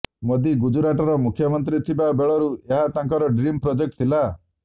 ମୋଦି ଗୁଜରାଟର ମୁଖ୍ୟମନ୍ତ୍ରୀ ଥିବା ବେଳରୁ ଏହା ତାଙ୍କର ଡ୍ରିମ୍ ପ୍ରୋଜେକ୍ଟ ଥିଲା